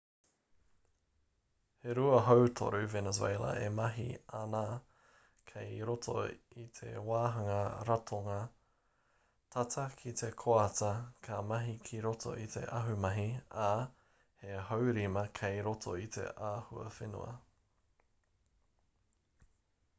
he rua hautoru venezuela e mahi āna kei roto i te wāhanga ratonga tata ki te koata ka mahi ki roto i te ahumahi ā he haurima kei roto i te ahuwhenua